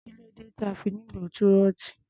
Kí ló dé tí a fi nílò túrọ́tù?